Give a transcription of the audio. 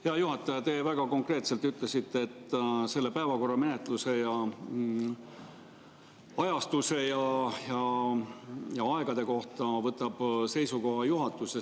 Hea juhataja, te väga konkreetselt ütlesite, et selle päevakorra menetluse, ajastuse ja aegade kohta võtab seisukoha juhatus.